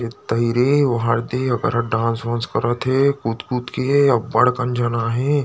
पहिरे हे ओढ़े हे डांस वांस करत हे कुत कुत के बढ़ कन झना हे ।